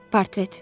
Portret.